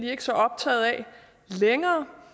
ikke så optagede af længere